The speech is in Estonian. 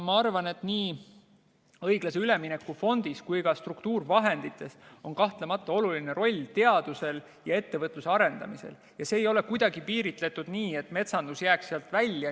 Ma arvan, et nii õiglase ülemineku fondil kui ka struktuurivahenditel on kahtlemata oluline roll teaduse ja ettevõtluse arendamisel ja see ei ole kuidagi piiritletud nii, et metsandus jääks sealt välja.